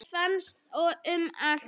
Þeir finnast um allt land.